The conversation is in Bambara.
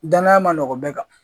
Danaya ma nɔgɔ bɛɛ kan